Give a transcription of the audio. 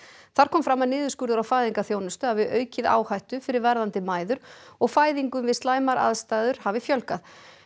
þar kom fram að niðurskurður á fæðingarþjónustu hafi aukið áhættu fyrir verðandi mæður og fæðingum við slæmar aðstæður hafi fjölgað